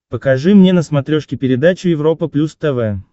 покажи мне на смотрешке передачу европа плюс тв